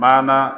Mana